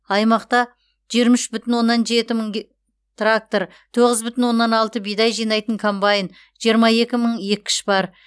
аймақта жиырма үш бүтін оннан жеті мың трактор тоғыз бүтін оннан алты бидай жинайтын комбайн жиырма екі мың еккіш бар